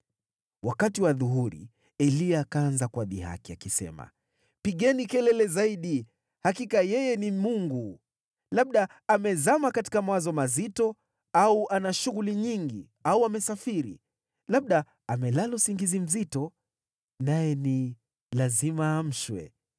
Wakati wa adhuhuri, Eliya akaanza kuwadhihaki, akisema, “Pigeni kelele zaidi! Hakika yeye ni mungu! Labda amezama katika mawazo mazito, au ana shughuli nyingi, au amesafiri. Labda amelala usingizi mzito, naye ni lazima aamshwe.”